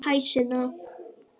Hæ, Sunna.